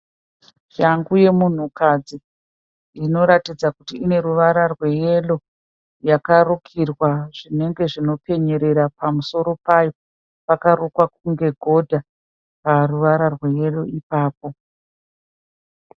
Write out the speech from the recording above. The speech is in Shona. Shangu yemunhukadzi inoratidza kuti ine ruvara rweyero yakarukirwa zvinenge zvinopenyerera pamusoro payo. Pakarukwa kunge godha paruvara rweyero ipapo.